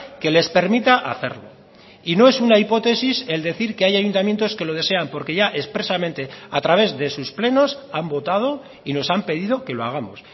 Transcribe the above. que les permita hacerlo y no es una hipótesis el decir que hay ayuntamientos que lo desean porque ya expresamente a través de sus plenos han votado y nos han pedido que lo hagamos